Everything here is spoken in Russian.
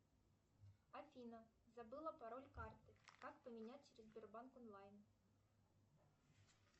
афина забыла пароль карты как поменять через сбербанк онлайн